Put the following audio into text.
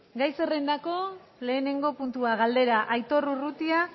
gai zerrendako lehenengo puntua galdera aitor urrutia